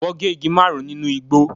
Wọ́n gé igi márùn-ún nínú igbó.